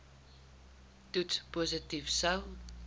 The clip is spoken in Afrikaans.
toets positief sou